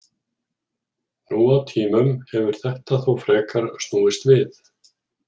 Nú á tímum hefur þetta þó frekar snúist við.